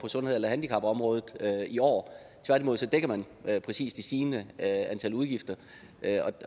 sundheds eller handicapområdet i år tværtimod dækker man præcis de stigende udgifter